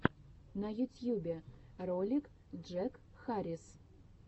на ютьюбе ролик джек харрис